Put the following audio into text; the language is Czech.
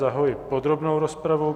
Zahajuji podrobnou rozpravu.